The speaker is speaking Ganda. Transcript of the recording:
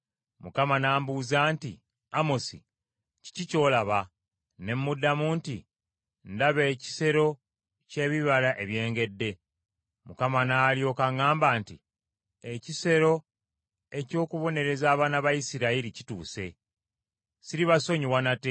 Mukama n’ambuuza nti, “Amosi, kiki ky’olaba?” Ne muddamu nti, “Ndaba ekisero ky’ebibala ebyengedde.” Mukama n’alyoka aŋŋamba nti, “Ekiseera eky’okubonereza abaana ba Isirayiri kituuse. Siribasonyiwa nate.